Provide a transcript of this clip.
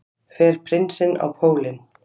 Fer prinsinn á pólinn